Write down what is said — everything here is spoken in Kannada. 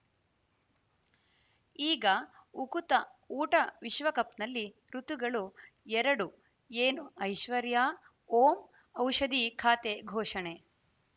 ಈಗ ಉಕುತ ಊಟ ವಿಶ್ವಕಪ್‌ನಲ್ಲಿ ಋತುಗಳು ಎರಡು ಏನು ಐಶ್ವರ್ಯಾ ಓಂ ಔಷಧಿ ಖಾತೆ ಘೋಷಣೆ